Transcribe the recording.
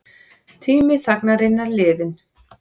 Tími þagnarinnar liðinn